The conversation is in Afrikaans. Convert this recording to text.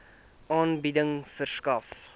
aanbieding verskaf